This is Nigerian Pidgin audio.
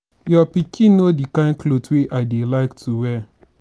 your pikin know the kin cloth wey i dey like to wear